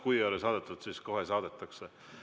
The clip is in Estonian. Kui ei ole saadetud, siis kohe saadetakse.